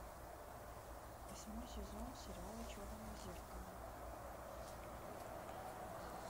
восьмой сезон сериала черное зеркало